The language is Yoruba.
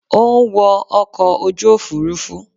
O ń wọ ọkọ̀ ojú òfuurufú.